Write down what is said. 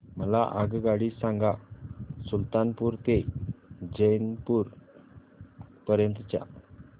मला आगगाडी सांगा सुलतानपूर ते जौनपुर पर्यंत च्या